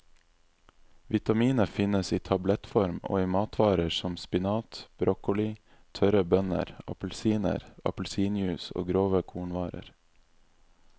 Vitaminet finnes i tablettform og i matvarer som spinat, broccoli, tørre bønner, appelsiner, appelsinjuice og grove kornvarer.